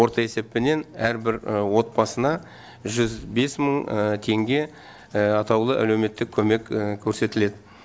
орта есеппенен әрбір отбасына жүз бес мың теңге атаулы әлеуметтік көмек көрсетіледі